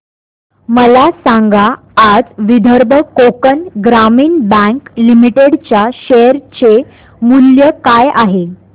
मला सांगा आज विदर्भ कोकण ग्रामीण बँक लिमिटेड च्या शेअर चे मूल्य काय आहे